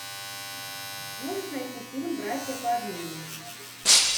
сможешь найти фильм братья по обмену